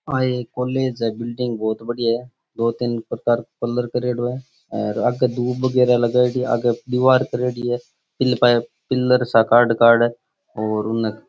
आ एक कॉलेज के बिल्डिंग बहुत बढ़िया है दो तीन प्रकार कलर करेड़ा है और आगे दूब वगेरा लगाइडी है आगे दिवार करेड़ी है इनने कई पिलर सा काड़ काड और उनने --